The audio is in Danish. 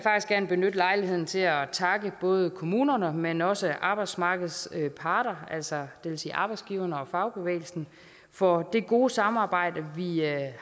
gerne benytte lejligheden til at takke både kommunerne men også arbejdsmarkedets parter altså arbejdsgiverne og fagbevægelsen for det gode samarbejde vi